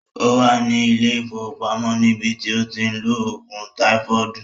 Ó wà ní ilé ìwòsàn ní bi tí ó ti ń lo ògùn táífọọdu